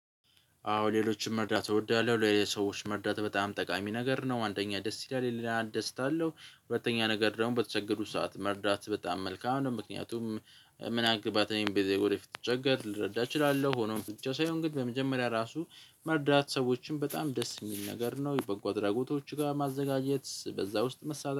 አዎ ሌሎችን መርዳት እወዳለሁ ሌሎች ሰዎች መርዳት በጣም ጠቃሚ ነገር ነው። አንደኛ ደስ ይላል የሌላ እደሰታለሁ ሁለተኛ ነገር ደግሞ በተቸገሩ ሰዓት መርዳት በጣም መልካም ነው። ምክንያቱም ምን አገባት በሚሉ ጊዜ ወደፊት ስቸገር ልረዳ እችላለሁ። ሆኖም ብቻ ሳይሆን ግን በመጀመሪያ ራሱ መርዳት ሰዎችን በጣም ደስ የሚል ነገር ነው። በጎ አድራጎቶች ጋር ማዘጋጀት በዛ ውስጥ መሳተፍ።